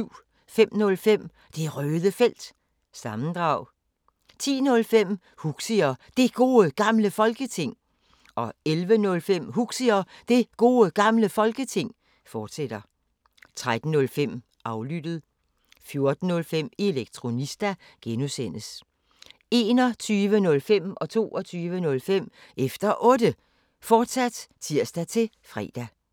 05:05: Det Røde Felt – sammendrag 10:05: Huxi og Det Gode Gamle Folketing 11:05: Huxi og Det Gode Gamle Folketing, fortsat 13:05: Aflyttet (G) 14:05: Elektronista (G) 21:05: Efter Otte, fortsat (tir-fre) 22:05: Efter Otte, fortsat (tir-fre)